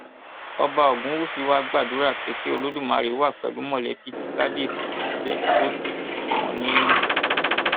ọba ogunwusi wàá gbàdúrà pé kí olódùmarè wà pẹlú mọlẹbí tí kábíẹsì fi sílẹ kó sì sì tù wọn nínú